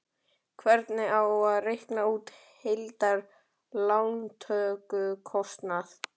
Hvernig á að reikna út heildar lántökukostnað?